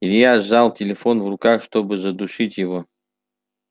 илья сжал телефон в руках чтобы задушить его